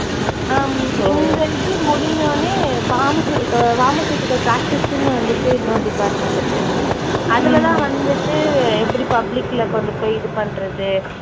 ஹம் இந்த இது முடிஞ்ச உடனே pharmacy அஹ் pharmaceutical practice ன்னு வந்துட்டு இன்னொரு department இருக்கு. அதுலதான் வந்துட்டு எப்படி public ல கொண்டுப்போய் இது பண்றது.